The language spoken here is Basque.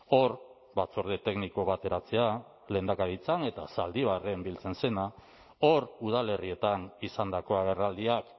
hor batzorde tekniko bateratzea lehendakaritzan eta zaldibarren biltzen zena hor udalerrietan izandako agerraldiak